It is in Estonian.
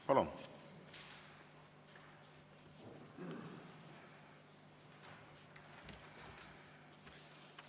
Palun!